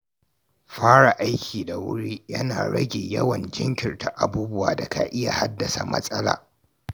Fara aiki da wuri yana rage yawan jinkirta abubuwa da ka iya haddasa matsala.